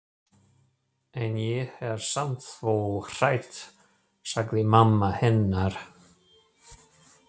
En ég er samt svo hrædd sagði mamma hennar.